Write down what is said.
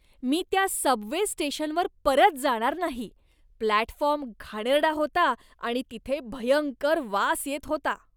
मी त्या सबवे स्टेशनवर परत जाणार नाही. प्लॅटफॉर्म घाणेरडा होता आणि तिथे भयंकर वास येत होता.